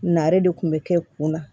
Nare de kun bɛ kɛ kun na